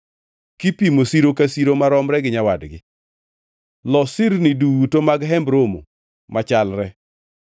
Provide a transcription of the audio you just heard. kipimo siro ka siro maromre gi nyawadgi. Los sirni duto mag Hemb Romo machalre.